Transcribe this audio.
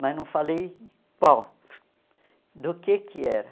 Mas não falei qual, do que que era.